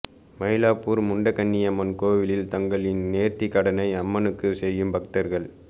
மயிலாப்பூர் முண்டகன்னியம்மன் கோவிலில் தங்களின் நேர்த்திக் கடனை அம்மனுக்கு செய்யும் பக்தர்கள்